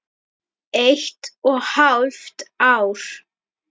Eitt og hálft ár.